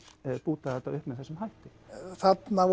búta þetta upp með þessum hætti þarna